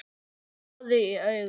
Roði í augum